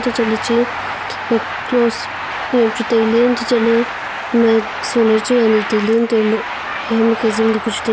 antoh chatley che cross heam chu tailey antoh chatley hema solar chu ani tailey antoh low hema khe zing daw ka chu tailey.